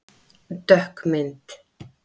Dökk mynd